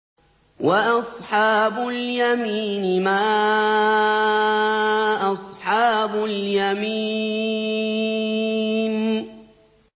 وَأَصْحَابُ الْيَمِينِ مَا أَصْحَابُ الْيَمِينِ